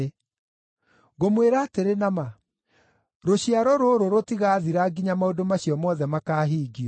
Ngũmwĩra atĩrĩ na ma, rũciaro rũrũ rũtigaathira nginya maũndũ macio mothe makaahingio.